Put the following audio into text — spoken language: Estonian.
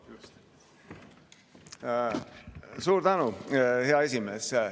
Suur tänu, hea esimees!